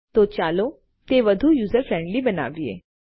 ઠીક છે તો ચાલો તે વધુ યુઝર ફ્રેન્ડલી બનાવીએ